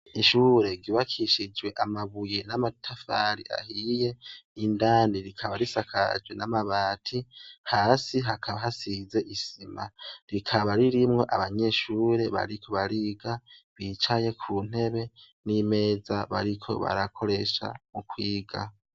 Ishure ryubakishijwe amabuye n'amatafari ahiye n'indani rikaba risakajwe n'amabati hasi hakaba hasize isima rikaba ririmwo abanyeshure bariko bariga bicaye ku ntebe n'imeza bariko barakoresha mu kwiga.